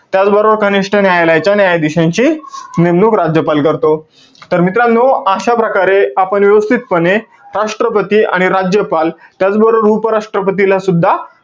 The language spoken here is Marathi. त्याचबरोबर कनिष्ठ न्यायालयाच्या न्यायाधीशांची, नेमणूक राज्यपाल करतो. तर मित्रांनो, अशा प्रकारे, आपण व्यवस्थितपणे राष्ट्रपती आणि राज्यपाल, त्याचबरोबर उपराष्ट्रपतीला सुद्धा,